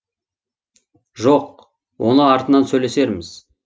жоқ оны артынан сөйлесерміз